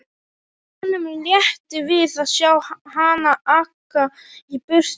Honum létti við að sjá hana aka í burtu.